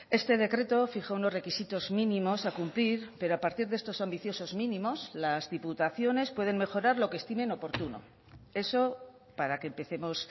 este decreto fija unos requisitos mínimos a cumplir pero a partir de estos ambiciosos mínimos las diputaciones pueden mejorar lo que estimen oportuno eso para que empecemos